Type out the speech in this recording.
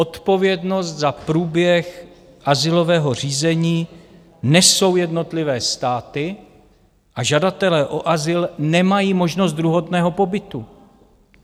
Odpovědnost za průběh azylového řízení nesou jednotlivé státy a žadatelé o azyl nemají možnost druhotného pobytu.